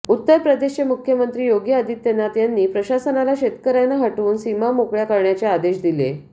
उत्तर प्रदेशचे मुख्यमंत्री योगी आदित्यनाथ यांनी प्रशासनाला शेतकऱ्यांना हटवून सीमा मोकळ्या करण्याचे आदेश दिले